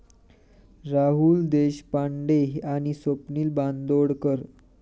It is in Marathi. राहुल देशपांडे आणि स्वप्नील बांदोडकर